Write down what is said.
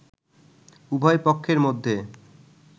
উভয় পক্ষের মধ্যে